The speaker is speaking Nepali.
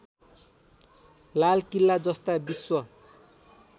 लालकिल्ला जस्ता विश्व